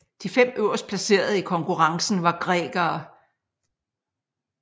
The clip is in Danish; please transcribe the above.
De fem øverstplacerede i konkurrencen var grækere